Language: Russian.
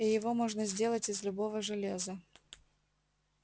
и его можно сделать из любого железа